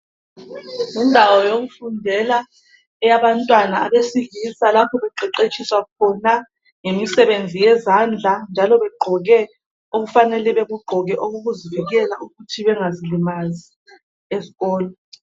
Indawo yokufundela eyebantwana abesilisa, lapho beqeqetshiswa khona ngemisebenzi yezandla, njalo begqoke okufanele bekugqoke okokuzivikela ukuthi bengazilimazi esikolo.